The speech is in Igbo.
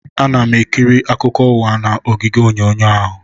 Ana m ekiri akụkọ ụwa n'igwe onyonyo ahụ